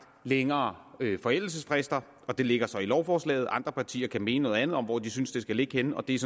længere forældelsesfrister og det ligger så i lovforslaget andre partier kan mene noget andet om hvor de synes det skal ligge henne og det